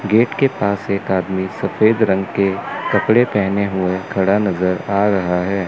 Gate के पास एक आदमी सफेद रंग के कपड़े पहने हुए खड़ा नजर आ रहा है।